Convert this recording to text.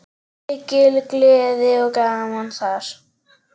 Mikil gleði og gaman þar.